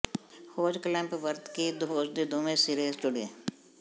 hose clamp ਵਰਤ ਕੇ hose ਦੇ ਦੋਵੇਂ ਸਿਰੇ ਜੁੜੋ